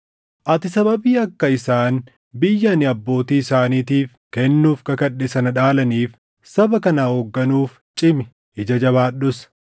Ati sababii akka isaan biyya ani abbootii isaaniitiif kennuuf kakadhe sana dhaalaniif saba kana hoogganuuf cimi; ija jabaadhus.